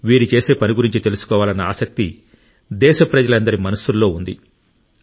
వీరు చేసే పని గురించి తెలుసుకోవాలన్న ఆసక్తి దేశ ప్రజలందరి మనస్సుల్లో ఉంది